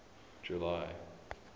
july